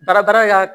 Baarada